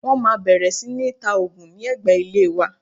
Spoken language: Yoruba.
Wọ́n máa bẹ̀rẹ̀ sí ní ta òògùn ní ẹ̀gbẹ́ ilé wa